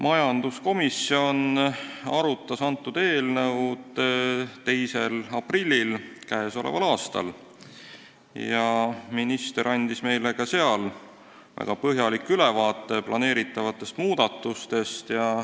Majanduskomisjon arutas eelnõu 2. aprillil k.a ja minister andis meile ka seal väga põhjaliku ülevaate plaanitavatest muudatustest.